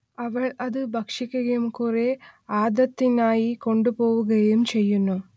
അവൾ അതു ഭക്ഷിക്കുകയും കുറേ ആദത്തിനായി കൊണ്ടുപോവുകയും ചെയ്യുന്നു